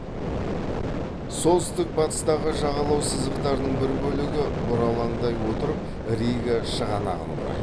солтүстік батыстағы жағалау сызықтарының бір бөлігі бұралаңдай отырып рига шығанағын құрайды